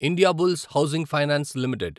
Indiabulls housing finance limited